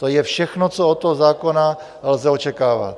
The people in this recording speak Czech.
To je všechno, co od toho zákona lze očekávat.